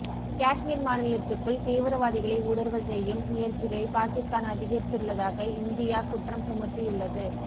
காஷ்மீர் மாநிலத்துக்குள் தீவிரவாதிகளை ஊடுருவச் செய்யும் முயற்சிகளை பாகிஸ்தான் அதிகரித்துள்ளதாக இந்தியா குற்றம் சுமத்தியுள்ளது